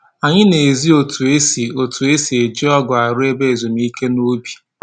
Anyị na-ezi otu e si otu e si eji ọgụ arụ ebe ezumike n'ubi